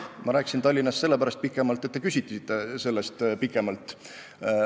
Ma rääkisin Tallinnast sellepärast pikemalt, et te küsisite selle kohta pikemalt.